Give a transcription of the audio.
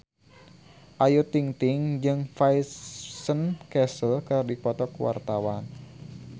Ayu Ting-ting jeung Vincent Cassel keur dipoto ku wartawan